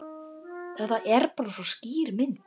Þetta er bara svo skýr mynd.